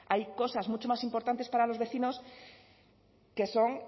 hay cosas mucho más importantes para los vecinos que son